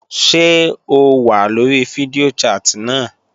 Ṣé o wà lórí fídíò chat náà?